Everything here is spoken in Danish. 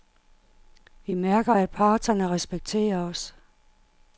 Vi mærker, at parterne respekterer os.